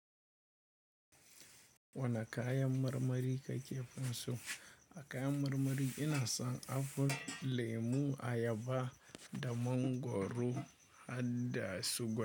Wane kayan marmari ka ke so? A kayan marmari ina son apple, lemu, ayaba, da mangwaro har da suga.